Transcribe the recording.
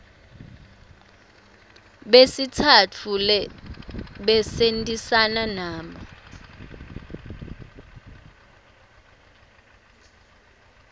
besitsatfu lesebentisana nabo